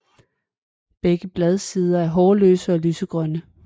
Begge bladsider er hårløse og lysegrønne